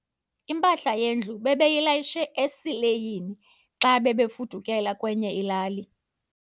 Impahla yendlu bebeyilayishe esileyini xa bebefudukela kwenye ilali.